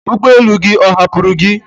ụgbọ elu gị ọ hapụrụ gi?